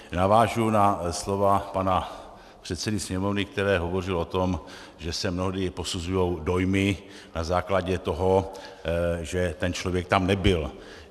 Navážu na slova pana předsedy Sněmovny, který hovořil o tom, že se mnohdy posuzují dojmy na základě toho, že ten člověk tam nebyl.